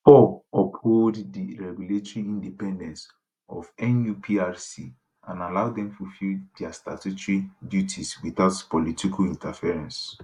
4 uphold di regulatory independence of nuprc and allow dem fulfil dia statutory duties witout political interference